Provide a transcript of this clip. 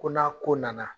Ko n'a ko nana